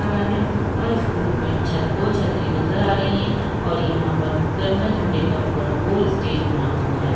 और स्कूल मे छत और दो छतरी नज़र आ रही है और यहाँ पर तिरंगे झण्डे का पूरा गोल स्टेज बना हुआ है।